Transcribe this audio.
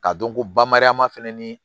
K'a dɔn ko bamara ma fɛnɛ ni